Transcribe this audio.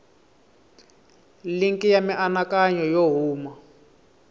linki ya mianakanyo yo huma